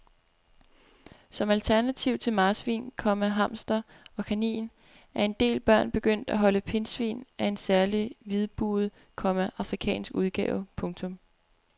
Som alternativ til marsvin, komma hamster og kanin er en del børn begyndt at holde pindsvin af en særlig hvidbuget, komma afrikansk udgave. punktum